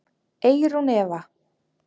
Eyrún Eva.